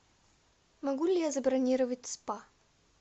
могу ли я забронировать спа